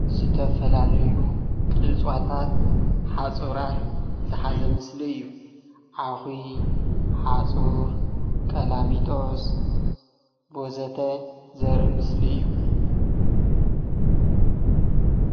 ዝተፈላለዩ እፅዋታት ሓፁራት ዝሓዘ ምስሊ እዩ፡፡ ዓኺ፣ ሓፁር፣ ቀላሚጦስ ወዘተ ዘርኢ ምስሊ እዩ፡፡